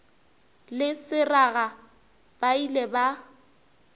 le seraga ba ile ba